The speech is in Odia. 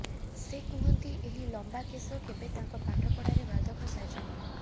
ସେ କୁହନ୍ତି ଏହି ଲମ୍ୱା କେଶ କେବେ ତାଙ୍କ ପାଠପଢ଼ାରେ ବାଧକ ସାଜିନି